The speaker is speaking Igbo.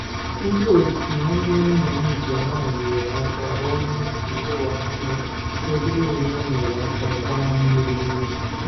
Ndị otu nwanne nna m nke nwanyị nyeere ya aka rụọ nnukwu ụlọ anụ ebe ya onwe ya nyeere ha aka gbaa mmiri n'ubi